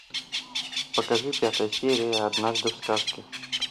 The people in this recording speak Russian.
покажи пятая серия однажды в сказке